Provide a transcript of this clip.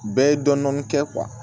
Bɛɛ ye dɔɔnin dɔɔnin kɛ